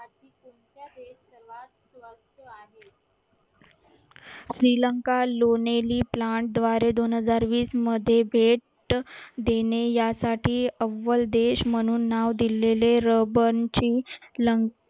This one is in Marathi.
श्रीलंका plant द्वारे दोन हजार वीस मध्ये भेट देणे यासाठी अव्वल देश म्हणून नाव दिलेले